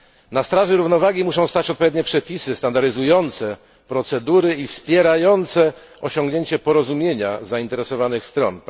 Na straży równowagi muszą stać odpowiednie przepisy standaryzujące procedury i wspierające osiągnięcie porozumienia zainteresowanych stron.